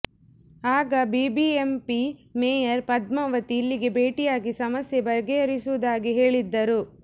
ಆಗ BBMP mayor Padmavati ಇಲ್ಲಿಗೆ ಭೇಟಿಯಾಗಿ ಸಮಸ್ಯೆ ಬಗೆಹರಿಸುವುದಾಗಿ ಹೇಳಿದ್ದರು